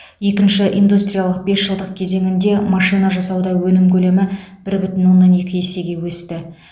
екінші индустриялық бесжылдық кезеңінде машина жасауда өнім көлемі бір бүтін оннан екі есеге өсті